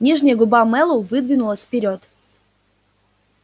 нижняя губа мэллоу выдвинулась вперёд